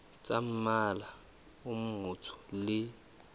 tsa mmala o motsho le